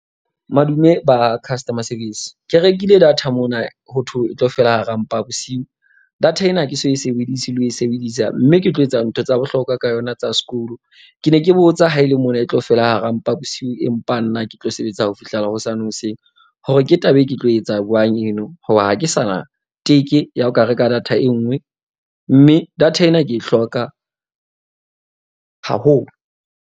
Madume ba ha customer service. Ke rekile data mona ho thwo e tlo fela hara mpa bosiu. Data ena ha ke so e sebedise le ho e sebedisa, mme ke tlo etsa ntho tsa bohlokwa ka yona tsa sekolo. Ke ne ke botsa haele mona e tlo fela hara mpa bosiu. Empa nna ke tlo sebetsa ho fihlela hosane hoseng, hore ke taba e ke tlo etsa jwang eno. Hoba ha ke sa na teke ya ho ka reka data e nngwe, mme data ena ke e hloka haholo.